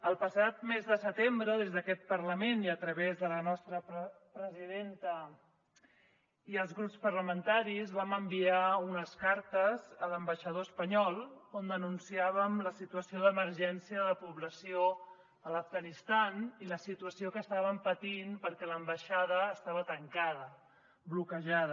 el passat mes de setembre des d’aquest parlament i a través de la nostra presidenta i els grups parlamentaris vam enviar unes cartes a l’ambaixador espanyol on denunciàvem la situació d’emergència de la població a l’afganistan i la situació que estaven patint perquè l’ambaixada estava tancada bloquejada